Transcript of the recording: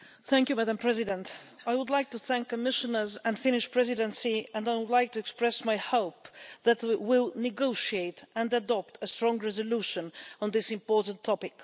Madam President, I would like to thank the Commissioners and the Finnish Presidency and I would like to express my hope that we will negotiate and adopt a strong resolution on this important topic.